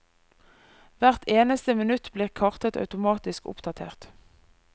Hvert eneste minutt blir kartet automatisk oppdatert.